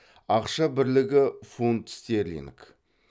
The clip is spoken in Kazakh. ақша бірлігі фунт стерлинг